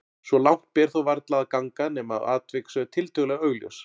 Svo langt ber þó varla að ganga nema atvik séu tiltölulega augljós.